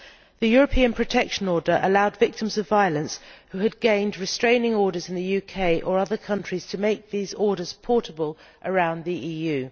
The European Protection Order allowed victims of violence who had gained restraining orders in the UK or other countries to make these orders portable around the EU.